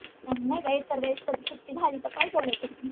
नाय का एक तर वेस्टची सुट्टी झाली तर काय करायचं?